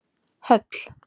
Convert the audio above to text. Höll